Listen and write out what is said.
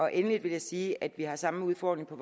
endelig vil jeg sige at vi har samme udfordring på